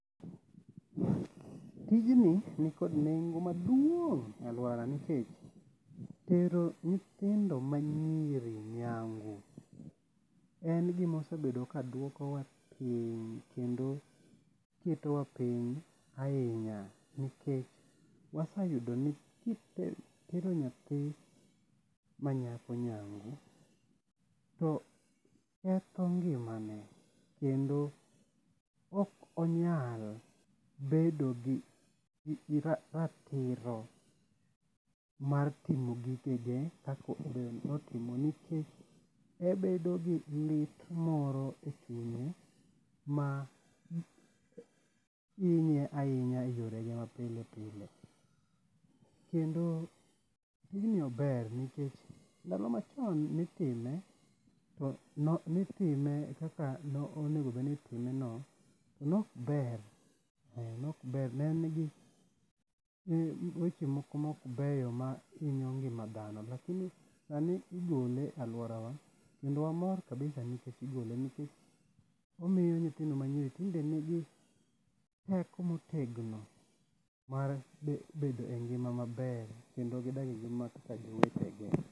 Tijni nikod nengo maduong' e aluora nikech tero nyithindo ma nyiri nyangu en gima osebedo ka dwokowa piny kendo ketowa piny ahinya nikech waseyudo ni kitero nyathi ma nyako nyangu to ketho ngimane kendo ok onyal bedo gi ratiro mar timo gigege kaka onego bed ni otimo nikech obedo gi lit moro e kuome ma hinye ahinya e yorege ma pile pile. Kendo tijni ober nikech ndalo ma chon nitime to nitime kaka no onego bed no itime no to nok ber nok ber ne en gi weche moko mok beyo ma hinyo ngima dhano lakini sani igole e aluorawa kendo wamor kabisa[s] nikech igole nikech omiyo nyithindo ma nyiri tinde nigi teko ma otegno mar bedo e ngima maber kendo gigak kaka jowetegi.